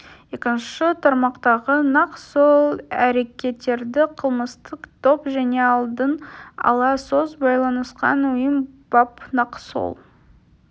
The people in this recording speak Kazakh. екінші тармақтағы нақ сол әрекеттерді кылмыстық топ және алдын ала сөз байланысқан ұйым бап нақ сол